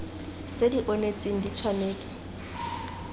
tse di onetseng di tshwanetse